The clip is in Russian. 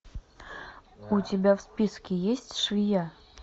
у тебя в списке есть швея